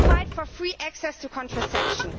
fight for free access to contraception